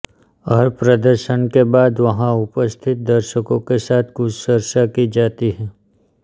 हर प्रदर्शन के बाद वहां उपस्थित दर्शकों के साथ कुछ चर्चा की जाती है